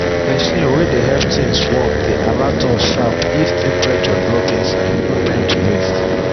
machine way dey help things warm dey alert us sharp if temperature drop inside no time to waste